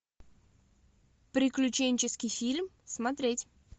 приключенческий фильм смотреть